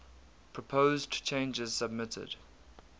proposed changes submitted